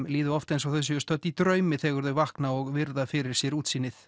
líða oft eins og þau séu stödd í draumi þegar þau vakna og virða fyrir sér útsýnið